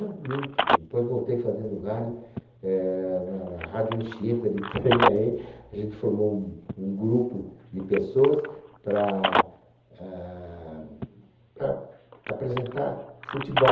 Não, minto, depois voltei fazendo rádio, é na na Rádio Anchieta de Itanhaém, a gente formou um um grupo de pessoas par ah... Para apresentar futebol.